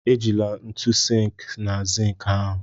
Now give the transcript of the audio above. Ejila ntu sink na zink ahụ!